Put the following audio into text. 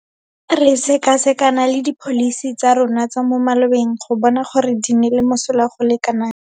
Re sekasekana le dipholisi tsa rona tsa mo malobeng go bona gore di nnile mosola go le kanakang.